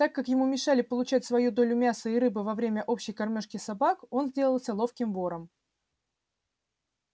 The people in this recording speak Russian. так как ему мешали получать свою долю мяса и рыбы во время общей кормёжки собак он сделался ловким вором